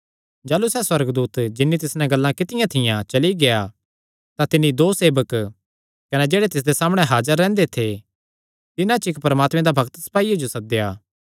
जाह़लू सैह़ सुअर्गदूत जिन्नी तिस नैं गल्लां कित्तियां थियां चली गेआ तां तिन्नी दो सेवक कने जेह्ड़े तिसदे सामणै हाजर रैंह्दे थे तिन्हां च इक्क परमात्मे दा भक्त सपाईये जो सद्देया